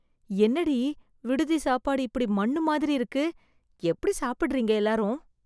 என்னடி, விடுதி சாப்பாடு இப்டி மண்ணு மாதிரி இருக்கு... எப்டி சாப்டறீங்க எல்லாரும்...